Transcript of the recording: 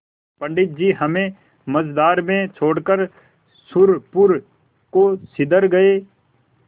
पंडित जी हमें मँझधार में छोड़कर सुरपुर को सिधर गये